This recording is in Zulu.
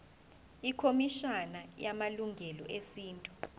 ikhomishana yamalungelo esintu